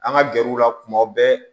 An ka gɛrɛw la kuma bɛɛ